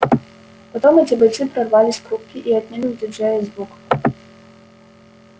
потом эти бойцы прорвались к рубке и отняли у диджея звук